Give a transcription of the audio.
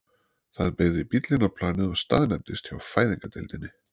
Það beygði bíll inn á planið og staðnæmdist hjá fæðingardeildinni.